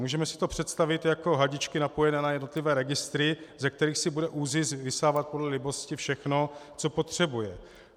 Můžeme si to představit jako hadičky napojené na jednotlivé registry, ze kterých si bude ÚZIS vysávat podle libosti všechno, co potřebuje.